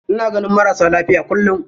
Ina ganin marasa lafiya kullum.